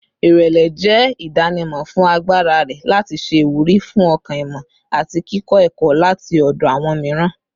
Irẹlẹ jẹ idanimọ fun agbara rẹ lati ṣe iwuri fun ọkan-ìmọ ati kikọ ẹkọ lati ọdọ awọn miiran